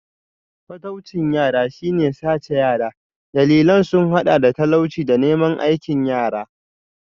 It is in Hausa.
Fataucin yara shi ne sace yara, dalilan sun hada da talauci da neman aikin yara.